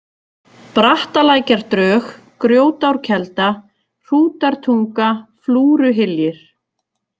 Brattalækjardrög, Grjótárkelda, Hrútartunga, Flúruhyljir